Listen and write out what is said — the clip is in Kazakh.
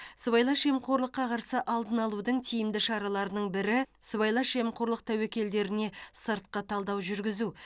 сыбайлас жемқорлыққа қарсы алдын алудың тиімді шараларының бірі сыбайлас жемқорлық тәуекелдеріне сыртқы талдау жүргізу